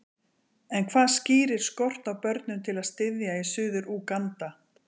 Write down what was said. En hvað skýrir skort á börnum til að styðja í Suður-Úganda?